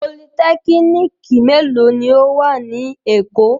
Politẹ́kínìkì mélòó ni ó wà ní Èkó?